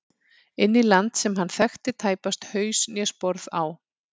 Inn í land sem hann þekkti tæpast haus né sporð á.